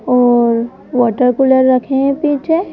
और water cooler रखे हैं पीछे।